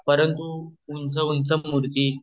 परंतु उंच उंच मूर्ती